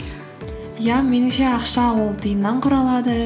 иә меніңше ақша ол тиыннан құралады